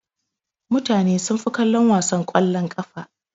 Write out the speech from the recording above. Mutane sunfi kallon wasan kwallon ƙafa.